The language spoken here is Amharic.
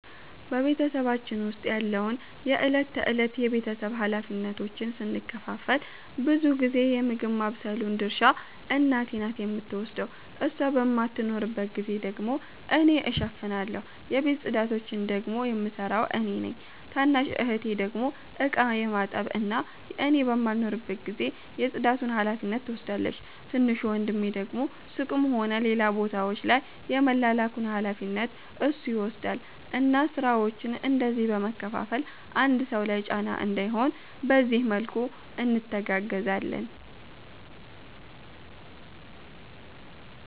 በ ቤተሰባችን ዉስጥ ያለውን የ እለት ተእለት የ ቤተሰብ ሀላፊነቶችን ስንከፋፈል ብዙ ጊዜ የ ምግብ ማባብሰሉን ድርሻ እናቴ ናት የምትወስደው እሷ በማትኖርባት ጊዜ ደግሞ እኔ እሸፍናለሁ። የቤት ፅዳቶቺን ደግሞ የምሰራው እኔ ነኝ። ታናሽ እህቴ ደግሞ እቃ የማጠብ እና እኔ በማልኖርበት ጊዜ የ ፅዳቱን ሀላፊነት ትወስዳለቺ። ትንሹ ወንድሜ ደግሞ ሱቅም ሆነ ሌላ ቦታወች ላይ የመላላኩን ሀላፊነት እሱ ይወስዳል እና ስራወቺን እንደዚህ በ መከፋፈል አንድ ሰው ላይ ጫና እንዳይሆን በዚህ መልኩ እንተጋገዛለን